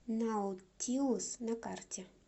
наутилус на карте